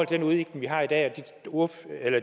den udvikling vi har i dag og